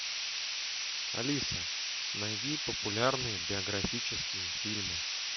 алиса найди популярные биографические фильмы